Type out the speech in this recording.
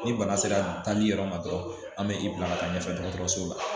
Ni bana sera taali yɔrɔ ma dɔrɔn an be i bila ka taa ɲɛfɛ dɔgɔtɔrɔso la